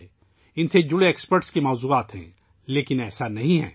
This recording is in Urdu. ماہرین سے متعلق مضامین ہیں لیکن ایسا نہیں ہے